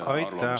Aitäh!